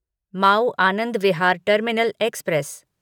Maui Anand Vihar terminal express